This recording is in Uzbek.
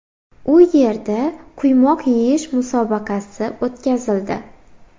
U yerda quymoq yeyish musobaqasi o‘tkazildi.